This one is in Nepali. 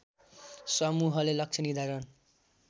समूहले लक्ष्य निर्धारण